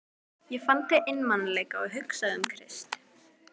Ég fann til einmanaleika og hugsaði um Krist.